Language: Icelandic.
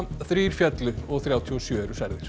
þrír féllu og þrjátíu og sjö eru særðir